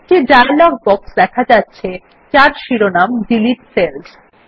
একটি dialog box দেখা যাচ্ছে যার শিরোনাম ডিলিট সেলস